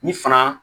Ni fana